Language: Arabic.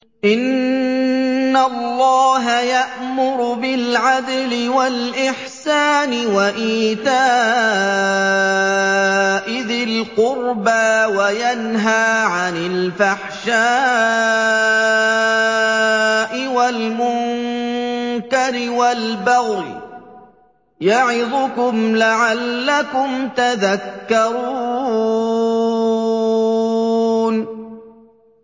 ۞ إِنَّ اللَّهَ يَأْمُرُ بِالْعَدْلِ وَالْإِحْسَانِ وَإِيتَاءِ ذِي الْقُرْبَىٰ وَيَنْهَىٰ عَنِ الْفَحْشَاءِ وَالْمُنكَرِ وَالْبَغْيِ ۚ يَعِظُكُمْ لَعَلَّكُمْ تَذَكَّرُونَ